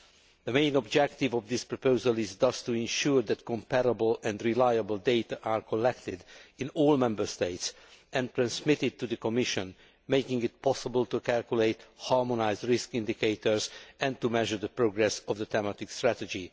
The main objective of this proposal is thus to ensure that comparable and reliable data are collected in all Member States and transmitted to the Commission, making it possible to calculate harmonised risk indicators and to measure the progress of the Thematic Strategy.